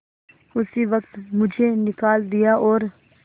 उसी वक्त मुझे निकाल दिया और